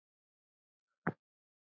Hann lá í bókum.